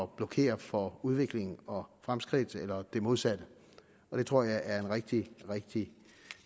blokere for udvikling og fremskridt eller det modsatte og det tror jeg er en rigtig rigtig